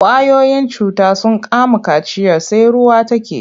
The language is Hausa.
Ƙwayoyin cuta sun kama kaciyar sai ruwa take.